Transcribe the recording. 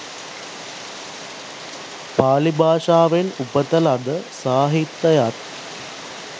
පාලි භාෂාවෙන් උපත ලද සාහිත්‍යයත්,